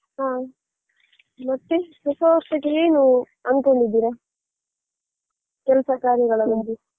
ಹ ಮತ್ತೆ ಹೊಸ ವರ್ಷಕ್ಕೆ ಏನು ಅಂದ್ಕೊಂಡಿದೀರಾ ಕೆಲ್ಸ ಕಾರ್ಯಗಳ ಬಗ್ಗೆ